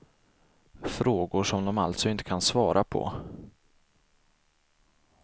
Frågor som de alltså inte kan svara på.